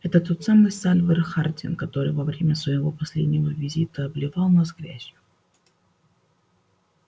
это тот самый сальвор хардин который во время своего последнего визита обливал нас грязью